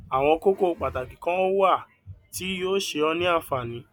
àwọn kókó pàtàkì kan wà tí yóò ṣe ọ ní ànfààní